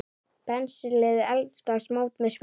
Penslið eldfast mót með smjöri.